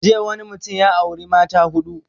Jiya wani mutum ya auri mata huɗu